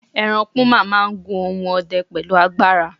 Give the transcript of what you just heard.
eran puma ma n gun ohun ọdẹ pẹlu agbara